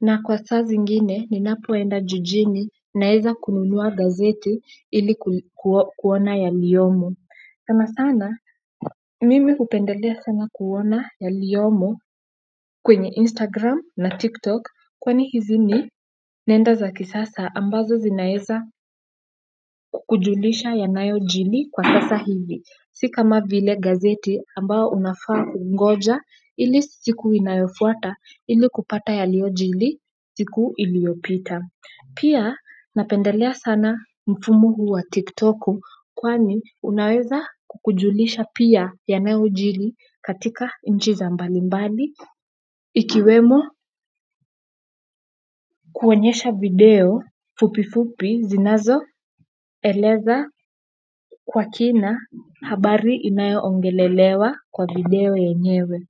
na kwa saa zingine ninapoenda jijini naeza kununua gazeti ili kuona yaliyomo sana sana mimi hupendelea sana kuona yaliyomo kwenye Instagram na TikTok kwani hizi ni nenda za kisasa ambazo zinaeza kukujulisha yanayojili kwa sasa hivi si kama vile gazeti ambao unafaa kungoja ili siku inayofuata ili kupata yaliojili siku iliopita pia napendelea sana mfumo huu wa tiktoku kwani unaweza kukujulisha pia yanayojili katika nchi za mbalimbali ikiwemo kuonyesha video fupi fupi zinazoeleza kwa kina habari inayoongelelewa kwa video yenyewe.